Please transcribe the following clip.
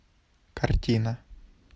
картина